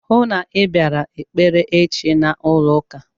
Hụụ na Ị bịara ekpere echi n'ụlọ ụka!